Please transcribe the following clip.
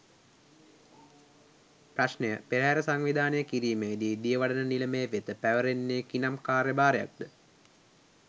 ප්‍රශ්නය පෙරහර සංවිධානය කිරීමේ දී දියවඩන නිලමේ වෙත පැවරෙන්නේ කිනම් කාර්යභාරයක්ද?